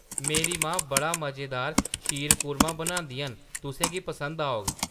मेरी मां बड़ा मजेदार शीरकुर्मा बनांदियां न, तुसें गी पसंद औग।